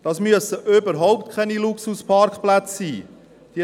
Das müssen überhaupt keine Luxusparkplätze sei.